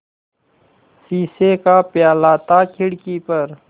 शीशे का प्याला था खिड़की पर